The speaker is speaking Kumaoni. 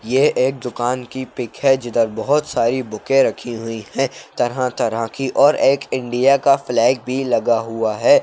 ये एक दुकान की पिक है जिधर बोहोत सारी बुकें रखी हुई हैं तरह तरह की और एक इंडिया का फ्लैग भी लगा हुआ है।